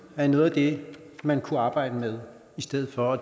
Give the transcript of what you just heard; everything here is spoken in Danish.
er noget af det man kunne arbejde med i stedet for